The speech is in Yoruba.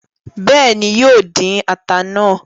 Béèni, yóò dín ata náà